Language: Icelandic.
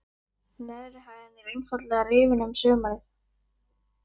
Neðri hæðin er einfaldlega rifin um sumarið.